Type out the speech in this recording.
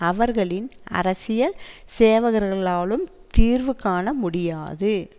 அவர்களின் அரசியல் சேவகர்களாலும் தீர்வு காண முடியாது